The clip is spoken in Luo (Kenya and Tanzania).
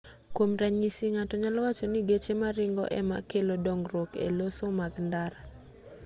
kuom ranyisi ng'ato nyalo wacho ni geche maringo ema kelo dongruok eloso mag ndara